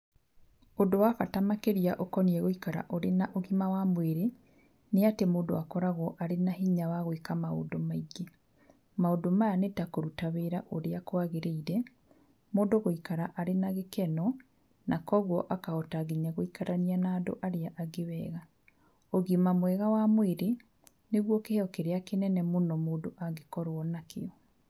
Ũndũ wa bata makĩria ũkoniĩ gũikara ũrĩ na ũgima wa mwĩrĩ nĩ atĩ mũndũ akoragwo arĩ na hinya wa gwĩka maũndũ maingĩ. Maũndũ maya nĩ ta kũruta wĩra ũrĩa kwagĩrĩire, mũndũ gũikara arĩ na gĩkeno na kũoguo akahota nginya gũikarania na andũ arĩa angĩ wega. Ũgima mwega wa mwĩrĩ nĩguo kĩheo kĩrĩa kĩnene mũno mũndũ angĩkorwo nakĩo.